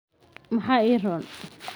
maxaa ii roon?